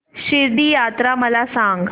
शिर्डी यात्रा मला सांग